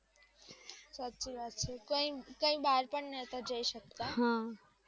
સાચી વાત છે. કઈ બાર પણ નોતા જાયી સકતા